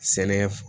Sɛnɛ